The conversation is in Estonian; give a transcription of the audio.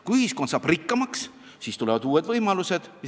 Kui ühiskond saab rikkamaks, siis tulevad uued võimalused.